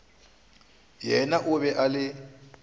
yena o be a le